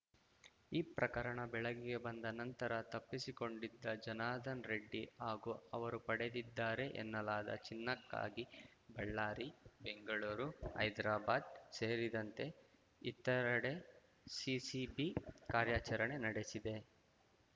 ಈ ಪ್ರಕರಣ ಬೆಳಗಿಗೆ ಬಂದ ನಂತರ ತಪ್ಪಿಸಿಕೊಂಡಿದ್ದ ಜನಾರ್ದನ್ ರೆಡ್ಡಿ ಹಾಗೂ ಅವರು ಪಡೆದಿದ್ದಾರೆ ಎನ್ನಲಾದ ಚಿನ್ನಕ್ಕಾಗಿ ಬಳ್ಳಾರಿ ಬೆಂಗಳೂರು ಹೈದರಾಬಾದ್‌ ಸೇರಿದಂತೆ ಇತರೆಡೆ ಸಿಸಿಬಿ ಕಾರ್ಯಾಚರಣೆ ನಡೆಸಿದೆ